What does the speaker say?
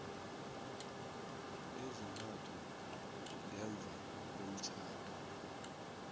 ezintathu ngemva komtjhado